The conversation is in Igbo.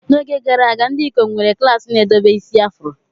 N'oge gara aga, ndị ikom nwere klaasị na-edebe isi afro.